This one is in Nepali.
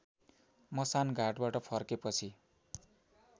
मसान घाटबाट फर्केपछि